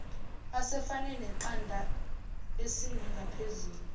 asefane neqanda esinengaphezulu